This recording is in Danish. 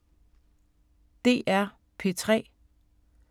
DR P3